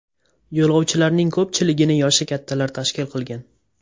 Yo‘lovchilarning ko‘pchiligini yoshi kattalar tashkil qilgan.